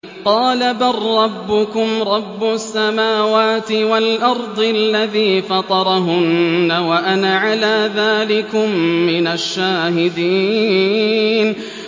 قَالَ بَل رَّبُّكُمْ رَبُّ السَّمَاوَاتِ وَالْأَرْضِ الَّذِي فَطَرَهُنَّ وَأَنَا عَلَىٰ ذَٰلِكُم مِّنَ الشَّاهِدِينَ